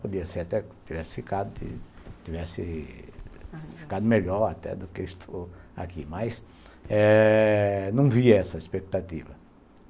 Podia ser até que tivesse ficado melhor até do que estou aqui, mas eh não via essa expectativa.